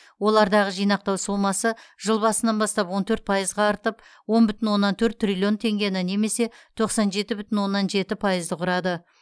олардағы жинақтау сомасы жыл басынан бастап он төрт пайызға артып он бүтін оннан төрт триллион теңгені немесе тоқсан жеті бүтін оннан жеті пайызды құрады